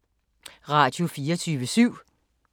Radio24syv